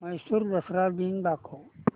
म्हैसूर दसरा दिन दाखव